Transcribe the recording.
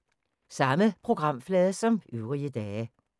Samme programflade som øvrige dage